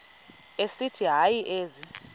esithi hayi ezi